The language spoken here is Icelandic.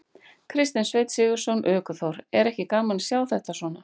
Kristinn Sveinn Sigurðsson, ökuþór: Er ekki gaman að sjá þetta svona?